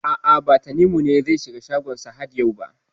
A'a, ba Tanimu ne zai shiga shagon Sahad yau ba.